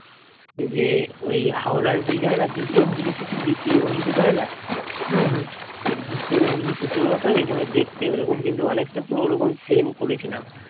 যে ওই হাওড়া bridge হয় না দ্বিতীয় হুগলি সেতু দ্বিতীয় হুগলি সেতু হয় না তো দ্বিতীয় হুগলি সেতুর মতো ওই রকম দেখতে ওই রকম কিন্তু অনেকটা ঐরকম same করেছিলাম